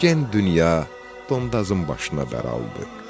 Gen dünya Dondazın başına bər aldı.